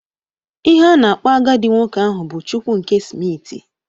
Ihe a na-akpọ agadi nwoke ahụ bụ Chukwu nke smiti